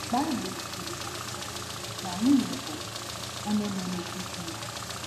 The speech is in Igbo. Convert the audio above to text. Baịbụl kwuru na na nwunye bụ “onye na-emeju di ya.